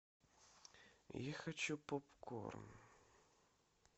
я хочу попкорн